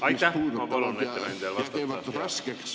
Aitäh!